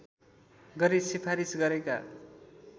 गरी सिफारिस गरेका